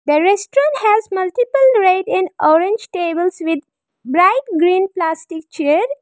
The restaurant has multiple red and orange tables with bright green plastic chair.